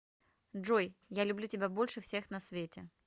джой я люблю тебя больше всех на свете